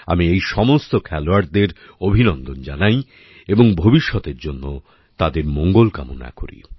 আমি এই সমস্ত খেলোয়াড়দের অভিনন্দন জানাই এবং ভবিষ্যতের জন্য তাদের মঙ্গল কামনা করি